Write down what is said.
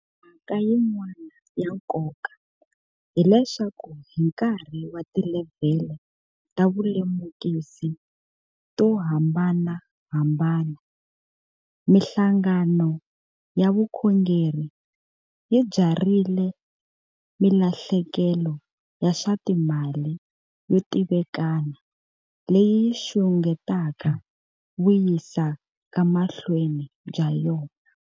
Mhaka yin'wana ya nkoka hileswaku hi nkarhi wa tilevhele ta vulemukisi to hambanahambana, mihlanga no ya vukhongeri yi byarhile milahlekelo ya swa timali yo tivikana leyi yi xungetaka vuyisekamahlweni bya yona.